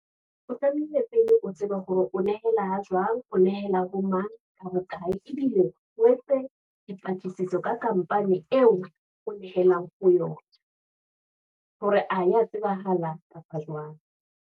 O tlamehile pele o tsebe hore o nehela jwang, o nehela bo mang, ka bokae. ebile o estse dipatlisiso, ka company eo o nehelang ho yona, hore a ya tsebahala kapa jwang.